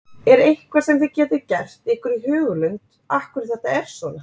Er eitthvað sem þið getið gert ykkur í hugarlund af hverju þetta er svona?